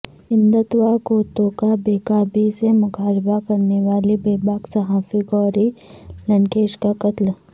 ہندتوا قوتوں کا بیباکی سے مقابلہ کرنے والی بیباک صحافی گوری لنکیش کا قتل